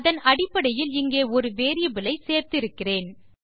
அதன் அடிப்படையில் இங்கே ஒரு வேரியபிள் ஐ சேர்த்து இருக்கிறேன்